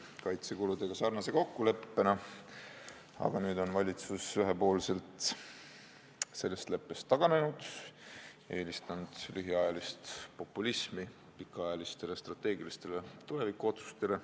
See kokkulepe sarnaneb kaitsekulude kokkuleppega, aga nüüd on valitsus ühepoolselt sellest taganenud, eelistanud lühiajalist populismi pikaajalistele strateegilistele tulevikuotsustele.